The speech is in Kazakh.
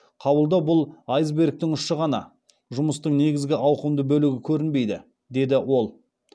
қабылдау бұл айсбергтің ұшы ғана жұмыстың негізгі ауқымды бөлігі көрінбейді деді ол